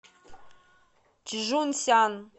чжунсян